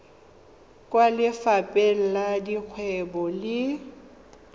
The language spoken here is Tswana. kwa lefapheng la dikgwebo le